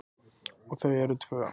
Og þau eru tvö.